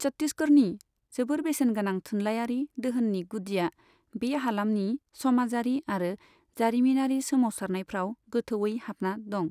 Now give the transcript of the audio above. छत्तिसगरनि जोबोर बेसेनगोनां थुनलाइयारि दोहोननि गुदिया बे हालामनि समाजारि आरो जारिमिनारि सोमावसारनायफ्राव गोथौयै हाबना दं।